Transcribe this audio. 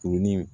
Kurunin